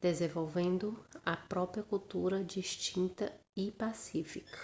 desenvolvendo a própria cultura distinta e pacífica